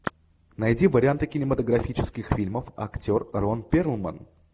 найди варианты кинематографических фильмов актер рон перлман